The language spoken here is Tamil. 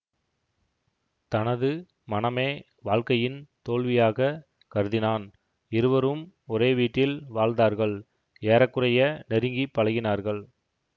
தனது மணமே வாழ்க்கையின் தோல்வியாகக் கருதினான் இருவரும் ஒரே வீட்டில் வாழ்ந்தார்கள் ஏற குறைய நெருங்கி பழகினார்கள்